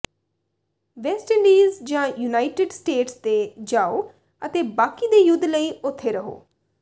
West Indies ਜਾਂ United State ਤੇ ਜਾਓ ਅਤੇ ਬਾਕੀ ਦੇ ਯੁੱਧ ਲਈ ਉੱਥੇ ਰਹੋ